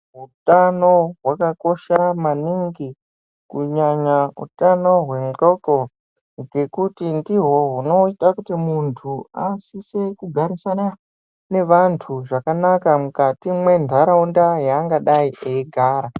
Utano hwakakosha maningi kunyanya utano hwehloko nekuti ndihwo hunoita kuti munthu asise kugarisana nevanthu zvakanaka mukati mwentharaunda yaangadei eigara .